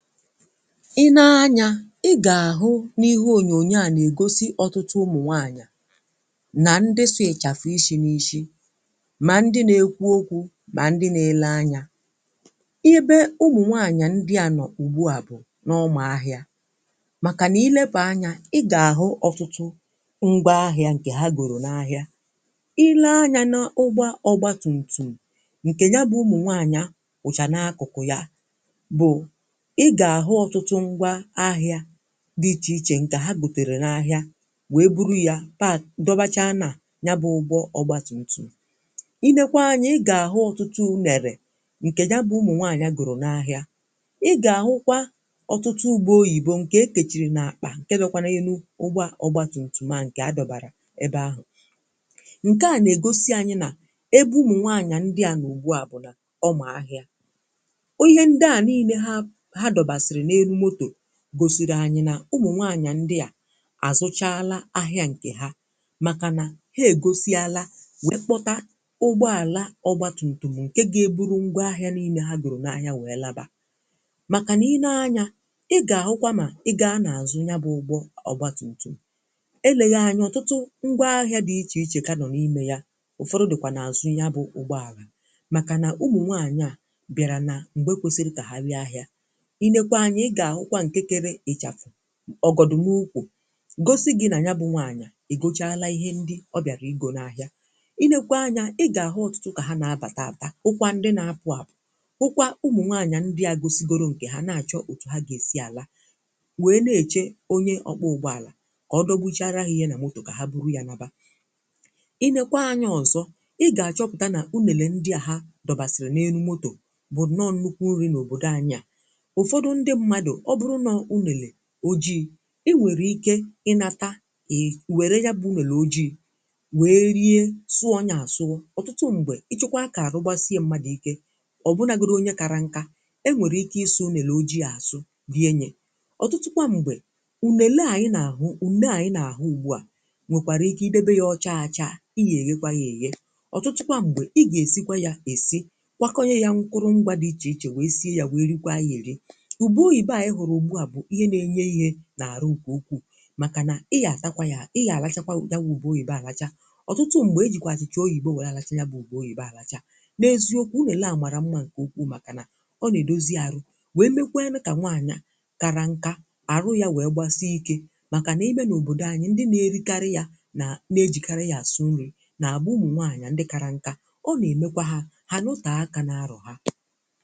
"Ị nee anyȧ, ị gà-àhụ n’ihe ònyònyo à nà ègosi ọtụtụ ụmụ̀ nwàanyà ;nà ndị sụ ị́chafụ̀ ịshi̇ nà ịshi, mà ndị nȧ-ekwu okwu̇, mà ndị nȧ-ele anyȧ. I ebe ụmụ̀ nwàanyà ndị à nọ̀ ugbu à bụ̀ n’ọmà ahịȧ, màkà nà ileba anya ị gà-àhụ ọtụtụ ngwaahịȧ ǹkè ha gòrò n’ahịa. Ì lee anyȧ n’ụgbọ ọgba tùmtùm ǹkè nya bụ̀ ụmụ̀ nwaànyà kwụ́cha n’akụ̀kụ̀ yà, bụ̀ ị́ ga-ahụ ọtụtụ ngwaahịa dị ichè ichè ǹkè ha bùtèrè n’ahịà; wèe bụrụ ya pa dọbacha na nya bụ ụgbọ ọgba tùmtùm. Ị nekwaa anyȧ ị gà-àhụ ọtụtụ unèrè ǹkè ya bụ ụmụ nwàanyà gòrò n’ahịà. Ị gà-àhụkwa ọ̀tụtụ ube oyìbo ǹkè e kechiri n’akpà ǹke dọkwa n'elu ụgbọ ọgba tùmtùm à nkè adọbàrà ebe ahụ̀. Nke à nà-ègosi anyị nà ebe ụmụ nwàanyà ndị à nọ ugbu à bụ̀ nà ọmà ahịa, ihe ndị a nịìle ha ha dobasiri n'elu moto gosịrị anyị̀ na ụmụ̀ nwaanyà ndị à azụchalà ahịà nkè ha; makà na ha ègosialà wee kpọtà ụgbọàlà ọgba tùmtùm nke ga-eburu ngwaahịà nịịle ha goro n’ahịà wee labà. Makà n’ine anyà ị ga-ahụkwà nà ị gaa nà azụ ya bụ̀ ụgbọ ọgbatùmtùm, eleghị anyị̀ ọtụtụ ngwaahịà dị ichè ichè ka nọ̀ n’ime yà ụfọdụ dị̀kwà na-azụ̀ ya bụ̀ ụgbọàlà; makà na ụmụ̀ nwaanyị̀ à bịarà na m̀gbe kwesiri ka ha bịa ahịà. Ị nekwa anya ị ga-ahụkwa nke kere ichafụ, ọgọdọ n’ụkwụ̀ gosị gị̀ nà ya bụ̀ nwàanyà egochala ihe ndi ọ bịàrà igȯ na ahịà. Ị nekwe anya i ga-ahụ̀ ọtụtụ kà ha na-abà tàta bụ̀kwa ndị na-apụ àpụ̀, bụkwa ụmụ̀ nwàanyà ndị a gosigoro nke ha na-achọ òtù ha ga-esi àla; wee na-echè onye ọkwọ ụgbọàlà ka ọ dọkpụchaarȧ ha ihe na motò kà ha bụrụ ya naba. Ị nekwa anya ọzọ̀ ị ga-achọpụ̀ta nà ùnele ndi à ha dọbasịrị̀ n’elu motò bụ̀ nnọọ̀ nukwu nrị n’òbòdò anyị à. Ụfọdụ ndị mmadụ ọbụrụ nò ùnele ojii̇, ị nwèrè ịke ịnȧta è were ya bụ̇ ùnele ojii̇ wèe rie sụọ ya àsụ. Ọtụtụ m̀gbè ịchọkwa ka àrụgbasịe mmadụ̀ ịke, ọ̀bụnagodi onye kara nkȧ, e nwèrè ịke ịsụ ụnèlè ojii̇ àsụ rie yà. Ọtụtụkwa m̀gbè ùnele ànyị nà-àhụ, ùnele ànyị na-àhụ ùgbu à;nwèkwàrà ịke ị debe ya ọcha acha ị yà èghekwa ya èghe. ọ̀ Ọtụtụkwa m̀gbè ị gà-èsikwa ya èsi, kwakọ nye ya nkụrụ mgwȧ dị ichè ichè wèe sie ya wèe rikwa ya èri. Ube oyibo a anyị hụrụ ụgbụ a bụ ìhè ná - enye ihe n’àrụ nke ụkwụ, màkà nà ị gà-àtakwa yȧ ị gà-àlachakwa ya wụ̇ ụbe oyibo alacha. Ọtụtụ mgbe ejikwà achịcha oyi̇bo wee àlacha ya bụ̇ ube oyi̇bė àlacha. N’eziokwu, ùnele à màrà mma nke ukwuu; màkà nà ọ nà-èdozi arụ̇ wee mekwee nụ kà nwàanyà kara nkà, àrụ ya wee gbasị ịke; màkà nà ịme n’òbòdò anyị, ndị na-erikarị yȧ, nà na-ejìkara yȧ àsụ nrị, nà àbụ ụmụ̀ nwàanyà ndị kara nkà; ọ nà-èmekwa ha ha nọtà aka n'arọ ha. "